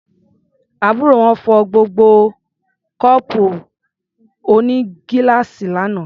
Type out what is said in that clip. Àbúrò wọn fọ́ gbogbo kọ́ọ̀pù onígíláàsì lánàá.